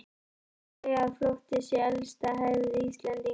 Það má segja að flótti sé elsta hefð Íslendinga.